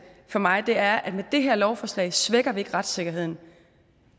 for mig er at med det her lovforslag svækker vi ikke retssikkerheden